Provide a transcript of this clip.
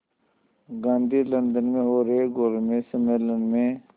Gandhi London में हो रहे गोलमेज़ सम्मेलन में